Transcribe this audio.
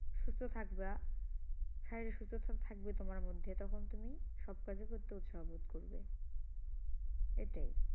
সুস্থ থাকবা শারীরিক সুস্থতা থাকবে তোমার মধ্যে তখন তুমি সব কাজই করতে উৎসাহ বোধ করবে এটাই